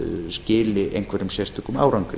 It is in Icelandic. skili einhverjum sérstökum árangri